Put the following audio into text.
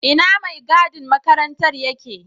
Ina maigadin makarantar yake?